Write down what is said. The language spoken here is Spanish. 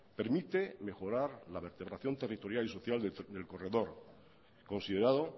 permite mejorar la vertebración territorial y social del corredor considerado